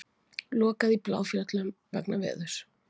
Lokað í Bláfjöllum vegna veðurs